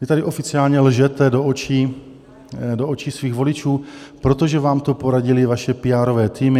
Vy tady oficiálně lžete do očí svých voličů, protože vám to poradily vaše píárové týmy.